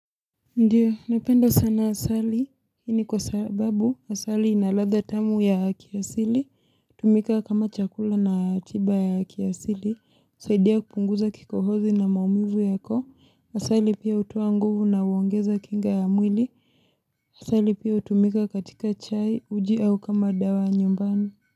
Ndio napenda sana asali hii ni kwa sababu asali ina ladha tamu ya kiasili tumika kama chakula na tiba ya kiasili husaidia kupunguza kikohozi na maumivu yako asali pia hutoa nguvu na uongeza kinga ya mwili asali pia hutumika katika chai uji au kama dawa nyumbani.